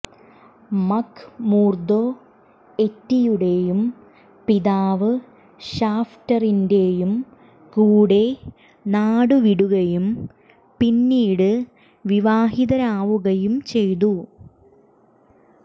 McMurdo എറ്റിയുടെയും പിതാവ് ഷാഫ്റ്ററിന്റെയും കൂടെ നാടുവിടുകയും പിന്നീട് വിവാഹിതരാവുകയും ചെയ്തു